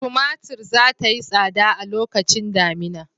Tumatur za ta yi tsada a lokacin damina.